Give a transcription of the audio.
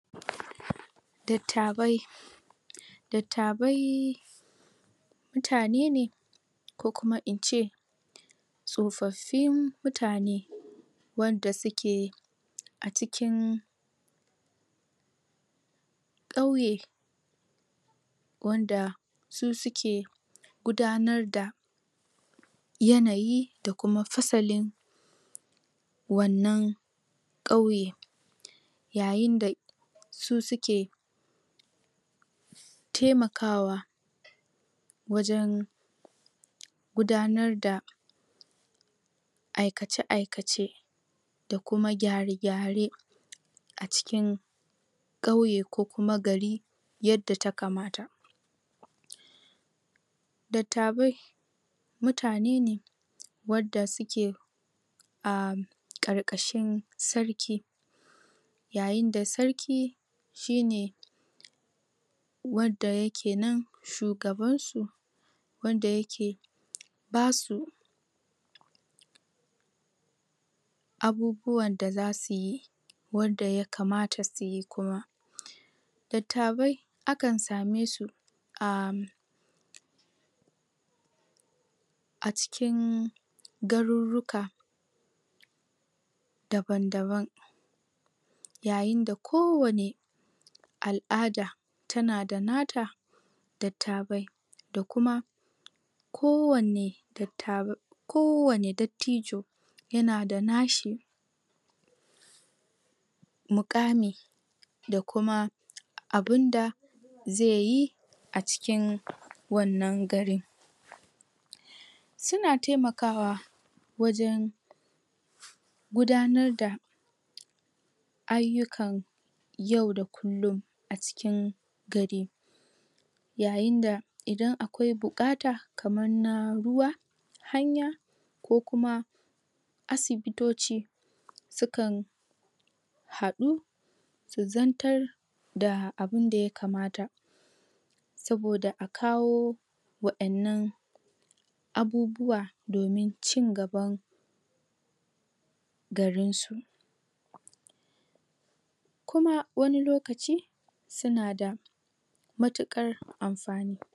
dattabai dattabai mutane ne ko kuma in ce sofaffin mutane wanda su ke a cikin kauye wanda su suke gudannar da yanayi da kuma fasalin wannan kauye yayin da su suke taimakawa wajen gudanar da aikace aikace da kuma gyare gyare a cikin kauye ko kuma gari yadda ta kamata dattabai mutane ne wadda su ke a karkashin sarki yayin da sarki shi ne wadda yake nan shugaban su wada yake ba su abubuwan da za su yi wadda ya kamata su yi kuma dattabai akan sa me su a a cikin garuruka daban daban yayin da kowane al'ada ta na da na ta dattabai da kuma ko wane dattabai ko wane dattijo ya na da na shi mukami da kuma abin da zai yi a cikin wannan su na taimanaka wajen gudanar da ayukan yau dakulun a cikin gari yayin da idanakwai bukata kamar na ruwa hanya ko kuma asibitoci sukan hadu zantar da abinda yakamata soboda a kawo wayannan abubuwa domin ci gaba garinsu kuma wani lokaci sunada matukar amfani